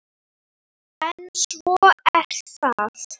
En svona er það.